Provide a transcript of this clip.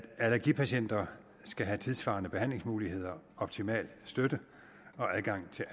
allergipatienter skal have tidssvarende behandlingsmuligheder optimal støtte og adgang til